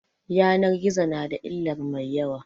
Yanan gizo na da illar mai yawa